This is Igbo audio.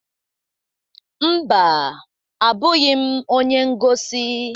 Mba, abụghị m onye ngosi.